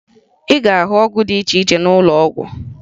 Ị ga-ahụ ọgwụ dị iche iche n'ụlọọgwụ